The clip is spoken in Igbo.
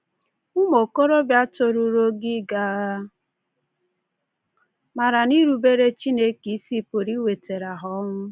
Ụmụ okorobịa toruru ogo ịga agha maara na irubere Chineke isi pụrụ iwetara ha ọnwụ.